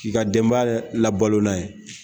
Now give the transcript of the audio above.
K'i ka denbaya labalon n'a ye